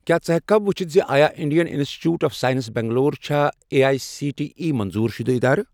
کیٛاہ ژٕ ہیٚککھا وُچھِتھ زِ آیا Indian institute of science Bangalore چھا A I C T E منظور شُدٕ ادارٕ؟